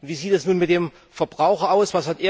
Wie sieht es nun mit dem Verbraucher aus?